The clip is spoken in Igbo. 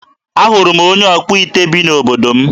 Ahụrụ m onye ọkpụite bi n'obodo m.